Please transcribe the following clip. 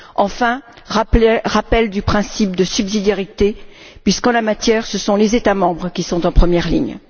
Enfin, je souscris au rappel du principe de subsidiarité, puisqu'en la matière, ce sont les États membres qui sont en première ligne.